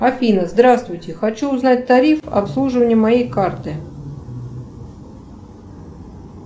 афина здравствуйте хочу узнать тариф обслуживания моей карты